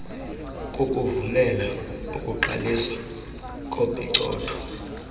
kukuvumela ukuqaliswa kopicotho